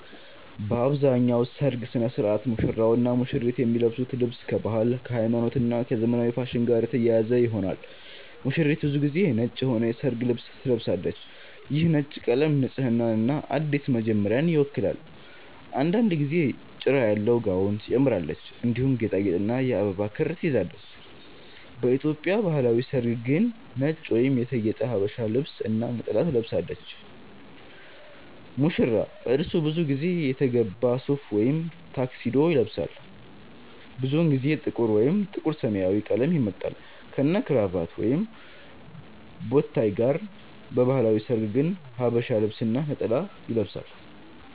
በአብዛኛው በሠርግ ሥነ ሥርዓት ሙሽራውና ሙሽሪት የሚለብሱት ልብስ ከባህል፣ ከሃይማኖት እና ከዘመናዊ ፋሽን ጋር የተያያዘ ይሆናል። ሙሽሪት ብዙ ጊዜ ነጭ የሆነ የሠርግ ልብስ ትለብሳለች። ይህ ነጭ ቀለም ንጽህናንና አዲስ መጀመሪያን ይወክላል። አንዳንድ ጊዜ ጭራ ያለው ጋውን ትጨምራለች፣ እንዲሁም ጌጣጌጥና የአበባ ክር ትይዛለች። በኢትዮጵያ ባህላዊ ሠርግ ግን ነጭ ወይም የተጌጠ ሀበሻ ልብስ እና ነጠላ ትለብሳለች። ሙሽራ : እርሱ ብዙ ጊዜ የተገባ ሱፍ ወይም ታክሲዶ ይለብሳል። ብዙውን ጊዜ ጥቁር ወይም ጥቁር-ሰማያዊ ቀለም ይመርጣል፣ ከነክራቫት ወይም ቦታይ ጋር። በባህላዊ ሠርግ ግን ሐበሻ ልብስ እና ነጠላ ይለብሳል።